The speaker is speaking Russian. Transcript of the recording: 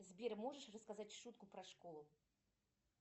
сбер можешь рассказать шутку про школу